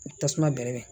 Tasuma bɛre